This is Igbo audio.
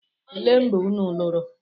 Elee mgbe unu lụrụ?